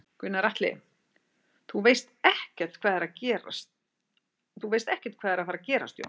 Gunnar Atli: Þú veist ekkert hvað er að fara gerast Jón?